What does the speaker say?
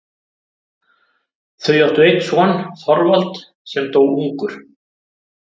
Þau áttu einn son, Þorvald, sem dó ungur.